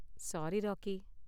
Sorry, rakhi.